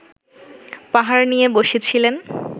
পাহাড় নিয়ে বসেছিলেন